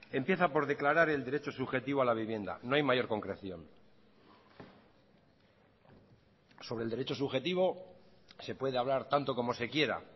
empieza por declarar el derecho subjetivo a la vivienda no hay mayor concreción sobre el derecho subjetivo se puede hablar tanto como se quiera